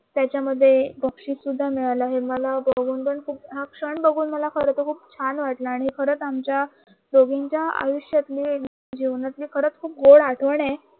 त्याच्यामध्ये बक्षीसही सुद्धा मिळालं गुण पण हा क्षण बघून पण मला खर तर खूप छान वाटलं आमच्या दोघींच्या आयुष्यातली जीवनातली खरं तरी खूप गोड आठवणे आहे